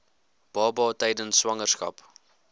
baba tydens swangerskap